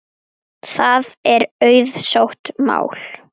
Það er auðsótt mál.